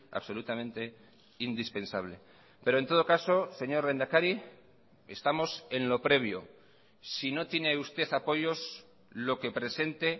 absolutamente indispensable pero en todo caso señor lehendakari estamos en lo previo si no tiene usted apoyos lo que presente